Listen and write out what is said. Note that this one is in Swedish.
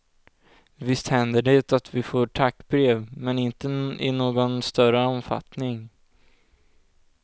Visst händer det att vi får tackbrev, men inte i någon större omfattning.